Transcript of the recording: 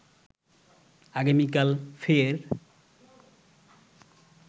আগামীকাল ফের